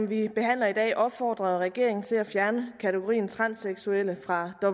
vi behandler i dag opfordrer regeringen til at fjerne kategorien transseksuelle fra